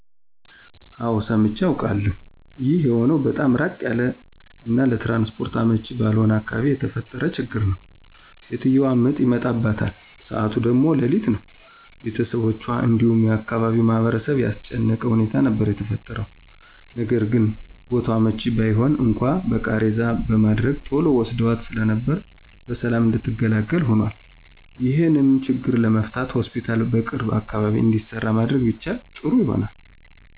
አወ ሰምቼ አቃለሁ። ይህ የሆነው በጣም ራቅ ያለ እና ለትራንስፖርት አመቺ ባልሆነ አካባቢ የተፈጠረ ችግር ነው። ሴትዮዋ ምጥ ይመጣባታል ሰዓቱ ደግሞ ሌሊት ነው፤ ቤተሰቦቹአን እንዲሁም የአካባቢውን ማህበረሰብ ያስጨነቀ ሁኔታ ነበር የተፈጠረው። ነገርግን ቦታው አመቺ ባይሆን እንኳን በቃሬዛ በማድረግ ቶሎ ወስደዋት ስለነበር በሰላም እንድትገላገል ሆኖአል። ይሄንም ችግር ለመፍታት ሆስፒታል በቅርብ አካባቢ እንዲሰራ ማድረግ ቢቻል ጥሩ ይሆናል።